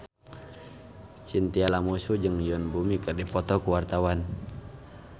Chintya Lamusu jeung Yoon Bomi keur dipoto ku wartawan